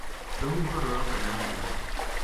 rũhuho rũroka na mbura